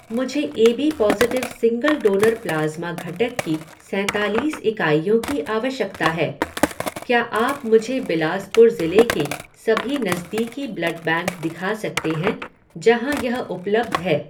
मुझे AB positive single donor plasma घटक की सैंतालीस इकाइयों की आवश्यकता है, क्या आप मुझे बिलासपुर ज़िले के सभी नज़दीकी ब्लड बैंक दिखा सकते हैं जहाँ यह उपलब्ध है।